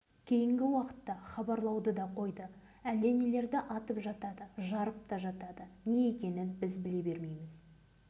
дүниенің бәрі жап-жарық болып бір нәрселер жарқылдап жатады одан соң әлгі саңырауқұлақ дегені көрінеді міне сол